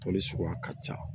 Toli suguya ka ca